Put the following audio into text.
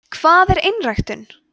hvað er einræktun